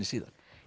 síðan